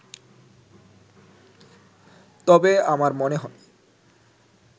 তবে আমার মনে হয়